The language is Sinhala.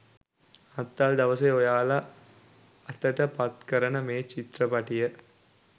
නත්තල් දවසේ ඔයාලා අතට පත් කරන මේ චිත්‍රපටිය